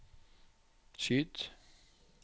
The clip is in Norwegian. skyt